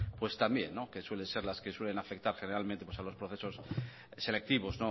pues también que suele ser las que suelen afectar generalmente a los procesos selectivos